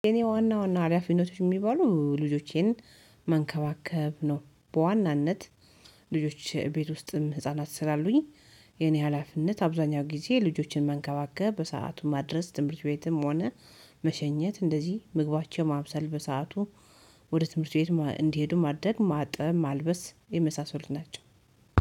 የኔ ዋና ዋና ሀላፊነቶች የሚባሉ ልጆቼን መንከባከብ ነው። በዋናነት ልጆች ቤት ውስጥም ህፃናት ስላሉኝ የኔ ሀላፊነት አብዛኛው ጊዜ ልጆቼን መንከባከብ በሰአቱ ማድረስ ትምህርት ቤትም ሆነ መሸኘት እንደዚህ ምግባቸው ማብሰል በሰአቱ ወደ ትምህርት ቤት እንዲሄዱ ማድረግ ማጠብ ማልበስ የመሳሰሉት ናቸው።